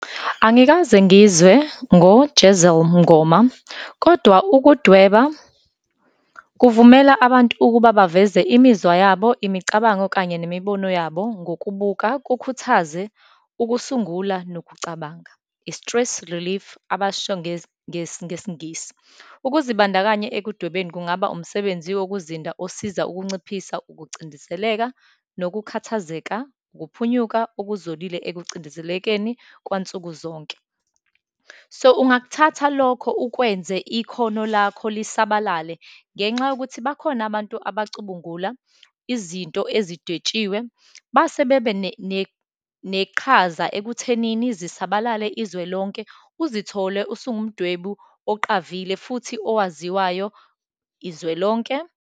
Angikaze ngizwe ngo-Jezelle Mngoma, kodwa ukudweba kuvumela abantu ukuba baveze imizwa yabo, imicabango, kanye nemibono yabo, ngokubuka, kukhuthaze ukusungula, nokucabanga, i-stress relief abasisho ngesiNgisi. Ukuzibandakanya ekudwebeni kungaba umsebenzi wokuzinda, osiza ukunciphisa ukucindezeleka, nokukhathazeka, ukuphunyuka okuzolile ekucindezelekeni kwansukuzonke. So, ungakuthatha lokho ukwenze ikhono lakho lisabalale, ngenxa yokuthi bakhona abantu abacubungula izinto ezidetshiwe, base bebe neqhaza ekuthenini zisabalale izwe lonke, uzithole usungumdwebi oqavile futhi owaziwayo izwe lonke.